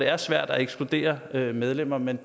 er svært at ekskludere medlemmer men